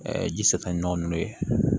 ji satonɔ ninnu ye